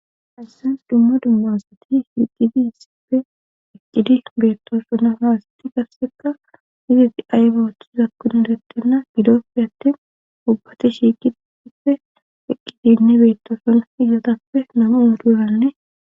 Asasens dumma dumma asati shiiqidi issippe eqqidi beettoso na faasati kasseka izeti aybaothizakkun erettenna gidoppe attin ubbati shiiqiippe eqqidinne beettoson izatappe nami uuduranne.